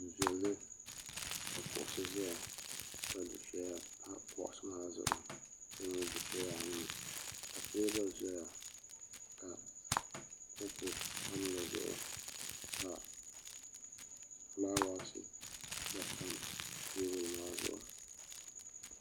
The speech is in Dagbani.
Du'viɛli ka kuɣusi zaya ka dufeya pa kuɣusi maa zuɣu ka nyɛ dufeya anu ka teebuli zaya ka kopu tam dizuɣu ka filaawaasi gba tam teebuli maa zuɣu.